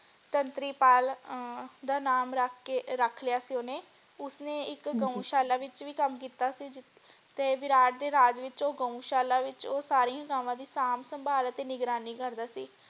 ਸੰਤਰੀ ਪਾਲ ਅਹ ਦਾ ਨਾਮ ਰੱਖ ਕੇ ਰੱਖ ਲਿਆ ਸੀ ਓਹਨੇ ਉਸਨੇ ਇਕ ਹਾਂਜੀ ਗਊਸ਼ਾਲਾ ਵਿਚ ਵੀ ਕੰਮ ਕੀਤਾ ਸੀ ਜਿਥੇ ਵਿਰਾਟ ਦੇ ਰਾਜ ਵਿੱਚ ਉਹ ਗਊਸ਼ਾਲਾ ਵਿੱਚ ਉਹ ਸਾਰੀ ਗਾਵਾਂ ਦੀ ਸਾਂਭ ਸੰਭਾਲ ਅਤੇ ਨਿਗਰਾਨੀ ਕਰਦਾ ਸੀ।